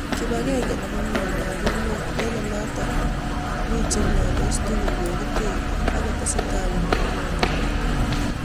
kipagenge nepo mieindap emet eng olotok chemiondos tugul kagiter ak kotesetai konyoru kanyaet